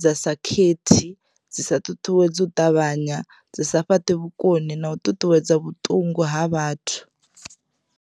dza sa khethi dzi sa ṱuṱuwedzi u ṱavhanya dzi sa fhaṱi vhukoni na u ṱuṱuwedza vhuṱungu ha vhathu.